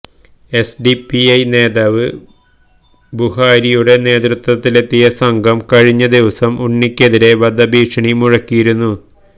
SDPI നേതാവ് ബുഹാരിയുടെ നേതൃത്വത്തിലെത്തിയ സംഘം കഴിഞ്ഞ ദിവസം ഉണ്ണിക്കെതിരെ വധ ഭീക്ഷണി മുഴക്കിയിരുന്നു